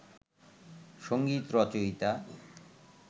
সংগীত রচয়িতা